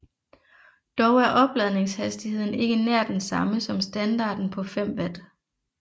Dog er opladningshastigheden ikke nær den samme som standarten på 5 watt